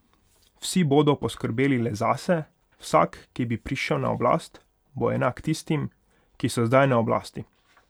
Vsi bodo poskrbeli le zase, vsak, ki bi prišel na oblast, bo enak tistim, ki so zdaj na oblasti.